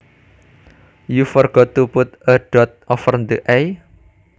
You forgot to put a dot over the i